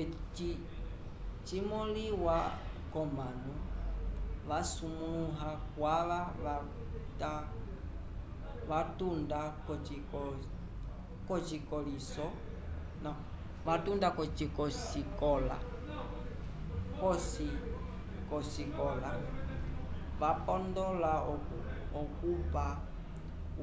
eci cimoliwa comanu vasumbiwa kwava vatunda kosikocikola vapondola okupa